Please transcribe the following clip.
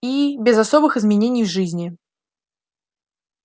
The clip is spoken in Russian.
и без особых изменений в жизни